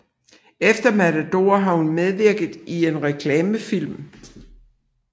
Efter Matador har hun medvirket i en reklamefilm